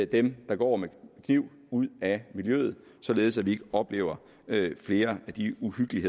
dem der går med kniv ud af miljøet således at vi ikke oplever flere af de uhyggelige